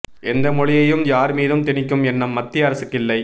எந்த மொழியையும் யார் மீதும் திணிக்கும் எண்ணம் மத்திய அரசுக்கு இல்லை